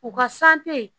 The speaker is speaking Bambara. U ka